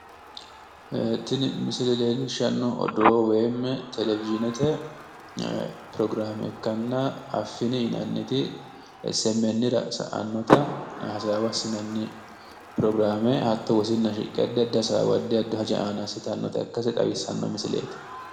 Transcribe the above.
Ee, tini misile leellishshnnohu odoo woyiimmi televizhiinete pirogiraame ikkanna affini yinanniti essi emmenniira sa'annota hasaawa assinanni pirogiraame hatto wosinna shiqqe addi addi hasaawa addi addi haja aana assitanota xawissanno misileeti.